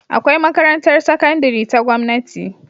Akwai makarantar sakandari ta gamnati